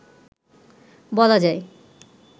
বলা যায়